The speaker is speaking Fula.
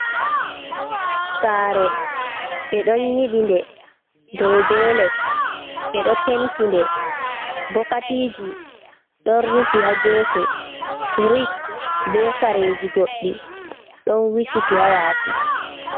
Sare, ɓe ɗon yiɓi nde dow be les, ɓeɗo penti nde bokatiji ɗon rufi ha gefe, firish be kareji goɗɗi ɗon wikiti hayasi.